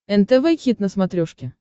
нтв хит на смотрешке